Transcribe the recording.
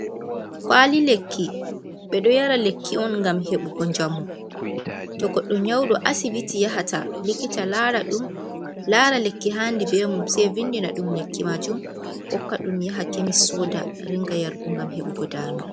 Kuwali lekki, ɓedo yara lekki on ngam hebugo njamu. toh goddo Nyawɗo, asibiti yahata likita lara ɗum, lara lekki haandi bee mum, sey vindina ɗum lekki majum, hokka ɗum yaha kemis soda, ringa yargo ngam hebugo daama.